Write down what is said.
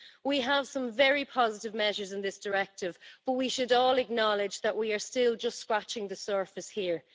We have some very positive measures in this directive, but we should all acknowledge that we are still just scratching the surface here.